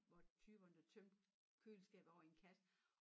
Var typerne der tømte køleskabet over i en kasse